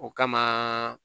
O kama